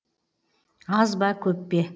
аз ба көп пе